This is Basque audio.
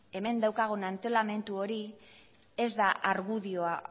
hemen daukagun antolamendu hori ez da argudioa